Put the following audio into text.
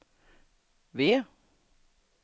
W